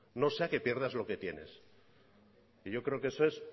no sea que pierdas lo que tienes y yo creo que eso es